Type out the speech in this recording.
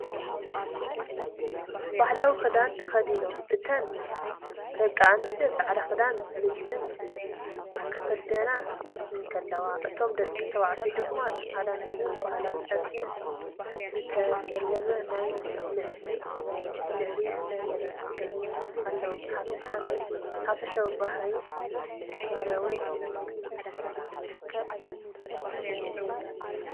ባህላዊ ክዳን ተኸዲኖም እተን ደቂ ኣንስትዮ ጻዕዳ ክዳንን ልብስን ክኽደና እንከለዋ፡ እቶም ደቂ ተባዕትዮ ድማ ጻዕዳ ማልያን ብባህላዊ ጨርቂ ዝተሰለመ ናይ ላዕሊ ተኸዲኖም ኣለዉ። ብሓፈሻ ናይ ሓበሸውን ባህላውን ስምዒት ይህብ፡፡